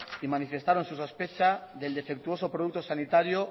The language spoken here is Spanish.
y manifestaron su sospecha del defectuoso producto sanitario